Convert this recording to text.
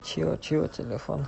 чио чио телефон